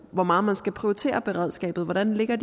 hvor meget man skal prioritere beredskabet hvordan ligger